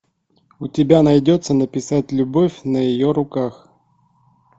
у тебя найдется написать любовь на ее руках